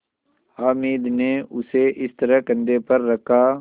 हामिद ने उसे इस तरह कंधे पर रखा